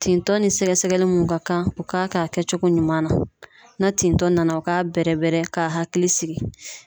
Tintɔ ni sɛgɛsɛgɛli mun ka kan u k'a kɛ cogo ɲuman na tintɔ na o k'a bɛrɛ bɛrɛ k'a hakili sigi